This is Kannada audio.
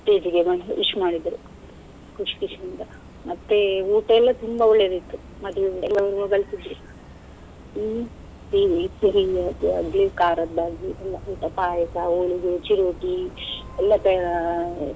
Stage ಗೆ ಬಂದು wish ಮಾಡಿದ್ರು, ಖುಶ್~ ಖುಷಿಯಿಂದ ಮತ್ತೆ ಊಟಯೆಲ್ಲ ತುಂಬಾ ಒಳ್ಳೇದಿತ್ತು ಮದುವೆ ಊಟ ಹ್ಮ್ ಖರದಾಗಿ ಎಲ್ಲ ಊಟ ಪಾಯಸ, ಹೋಳಿಗೆ, ಚಿರೋಟಿ ಎಲ್ಲ ತಯಾ~.